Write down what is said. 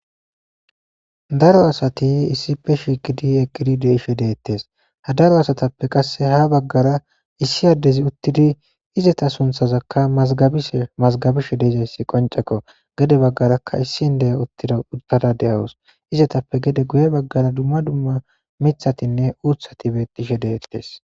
Daro asati issippe shikidi egidi deishe deettes ha daro asatappe qasse ha baggara issi addezi uttidi izeta sunthazakka mazgabishe mazgabishe deezayssi qoncekko gede baggarakka issinde'e uttida uttada de'awus izetappe gede guye baggara dumma dumma mithatinne uuthati beqishe deettes.